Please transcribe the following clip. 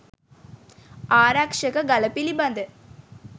ආරක්‍ෂක ගල පිළිබඳ